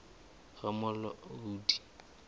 ramolodi